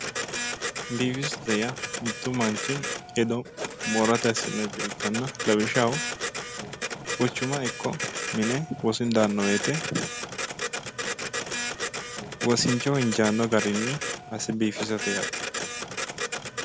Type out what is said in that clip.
Biifisate yaa mittu manichi hedo moorate assinayi coye ikkana lawishshaho quchuma ikko mine wosinu daanno woyite wosinichoho injaanno garinni asse biifisate yaate